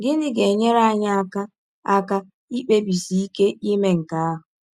Gịnị ga - enyere anyị aka aka ikpebisi ike ime nke ahụ?